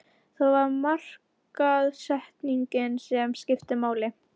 Það var markaðssetningin sem skipti máli.